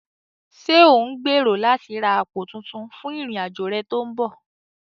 Ṣé ò ń gbèrò láti ra àpò tuntun fún ìrìn-àjò rẹ tó ń bọ̀?